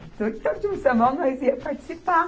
Então, tinha o sambão, nós íamos participar.